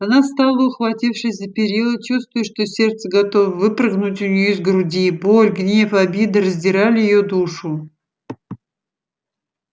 она стала ухватившись за перила чувствуя что сердце готово выпрыгнуть у неё из груди боль гнев обида раздирали её душу